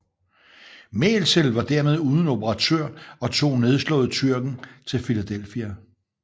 Mälzel var dermed uden operatør og tog nedslået Tyrken til Philadelphia